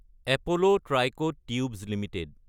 Apollo Tricoat Tubes Ltd